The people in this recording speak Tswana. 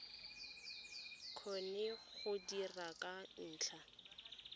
kgone go dira ka ntlha